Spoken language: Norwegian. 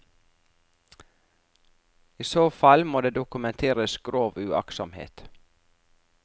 I så fall må det dokumenteres grov uaktsomhet.